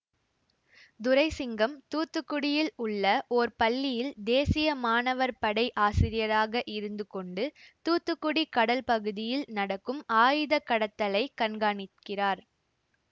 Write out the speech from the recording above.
துரை சிங்கம் தூத்துக்குடியில் உள்ள ஓர் பள்ளியில் தேசிய மாணவர் படை ஆசிரியராக இருந்து கொண்டு தூத்துக்குடி கடல் பகுதியில் நடக்கும் ஆயுத கடத்தலைக் கண்காணிக்கிறார்